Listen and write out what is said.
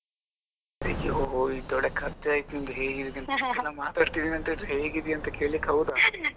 ಅಯ್ಯೋ ಇದು ಒಳ್ಳೆ ಕಥೆ ಆಯ್ತು ನಿಮ್ಮದು ಹೇಗಿದ್ದೀರಿ ಇದು ನಿಮ್ಮತ್ರ ಮಾತಾಡ್ತಿದ್ದೀನಿ ಅಂದ್ರೆ ಹೇಗಿದ್ದೀಯ ಅಂತ ಕೇಳಲಿಕ್ಕೆ ಹೌದಾ .